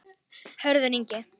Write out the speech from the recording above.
Hörður Ingi.